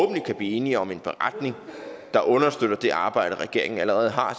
at vi kan blive enige om en beretning der understøtter det arbejde regeringen allerede har